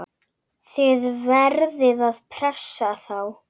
Þið verðið að pressa þá!